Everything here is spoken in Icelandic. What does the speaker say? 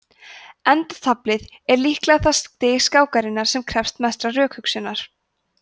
endataflið er líklega það stig skákarinnar sem krefst mestrar rökhugsunar